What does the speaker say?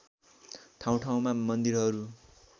ठाउँ ठाउँमा मन्दिरहरू